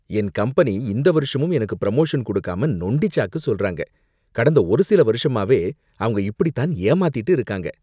என் company இந்த வருஷமும் எனக்கு ப்ரமோஷன் கொடுக்காம நொண்டி சாக்கு சொல்றாங்க, கடந்த ஒரு சில வருஷமாவே அவங்க இப்படி தான் ஏமாத்திட்டு இருக்காங்க